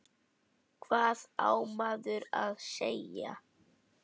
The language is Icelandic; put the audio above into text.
Hvað á maður að segja?